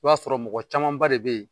I b'a sɔrɔ mɔgɔ caman ba de bɛ yen